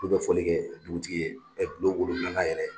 ulu bɛ foli kɛ dugutigi ye, n'o ye bulon wolonwulanan yɛrɛ